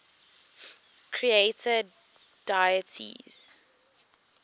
creator deities